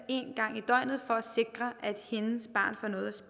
en gang i døgnet for at sikre at hendes barn får noget